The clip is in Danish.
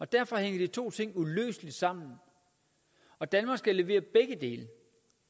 derfor hænger de to ting uløseligt sammen og danmark skal levere begge dele